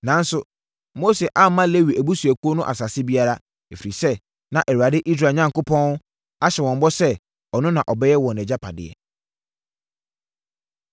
Nanso, Mose amma Lewi abusuakuo no asase biara, ɛfiri sɛ, na Awurade, Israel Onyankopɔn ahyɛ bɔ sɛ ɔno na ɔbɛyɛ wɔn agyapadeɛ.